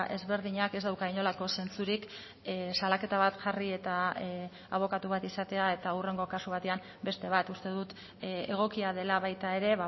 ezberdinak ez dauka inolako zentzurik salaketa bat jarri eta abokatu bat izatea eta hurrengo kasu batean beste bat uste dut egokia dela baita ere